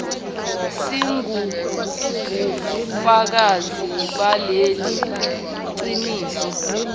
singubufakazi balelo qiniso